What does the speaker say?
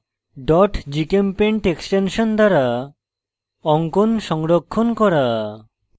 gchempaint extension দ্বারা অঙ্কন সংরক্ষণ করা